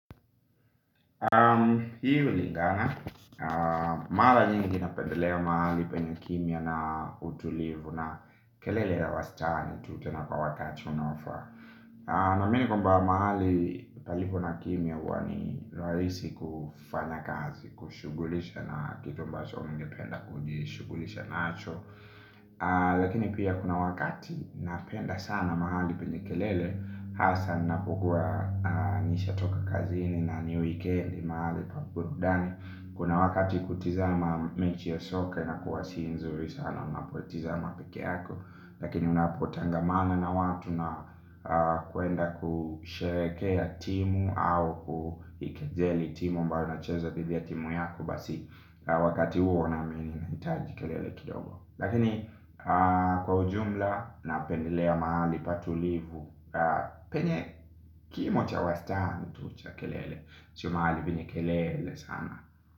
Hii hulingana, mara nyingi napendelea mahali penye kimya na utulivu na kelele ya wastani tu tena kwa wakati unofaa. Naamini kwamba mahali palipo na kimya huwa ni rahisi kufanya kazi, kushugulisha na kitu ambacho ningependa kujishugulisha nacho. Lakini pia kuna wakati napenda sana mahali penye kelele hasa napokuwa nishatoka kazini na ni wikendi mahali pa burudani. Kuna wakati kutizama mechi ya soka inakuwa si nzuri sana unapotizama pekeyako. Lakini unapotangamana na watu na kuenda kusherehekea timu au kuikejeli timu ambayo inacheza thidi timu yako basi wakati huo naamini nahitaji kelele kidogo lakini kwa ujumla napendelea mahali patulivu penye kimo cha wastani tu cha kelele sio mahali penye kelele sana.